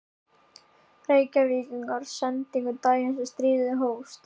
Reykvíkingar sendingu daginn sem stríðið hófst.